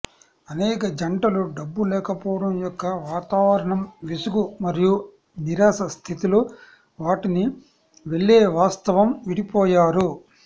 అనేక జంటలు డబ్బు లేకపోవడం యొక్క వాతావరణం విసుగు మరియు నిరాశ స్థితిలో వాటిని వెళ్ళే వాస్తవం విడిపోయారు